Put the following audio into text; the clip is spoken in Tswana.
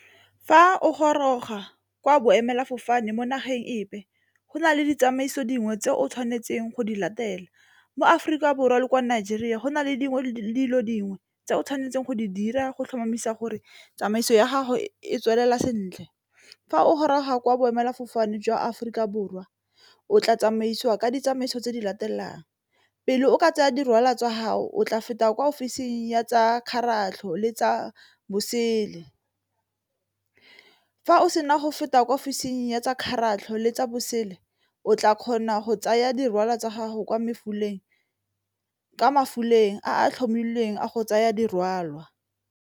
Fa o goroga kwa boemela fofane mo nageng epe go na le ditsamaiso dingwe tse o tshwanetseng go di latela mo Aforika Borwa le kwa Nigeria go na le dilo dingwe tse o tshwanetseng go di dira go tlhomamisa gore tsamaiso ya gago e tswelela sentle, fa o goroga kwa boemelafofane jwa Aforika Borwa o tla tsamaisiwa ka ditsamaiso tse di latelang pele o ka tsenya di rwalo tsa haho o tla feta kwa ofising ya tsa kgaratlho le tsa bosele. Fa o sena go feta kwa ofising ya tsa kgaratlho le tsa bosele o tla kgona go tsaya dikwalwa tsa gago kwa a tlhomilweng a go tsaya dirwalwa.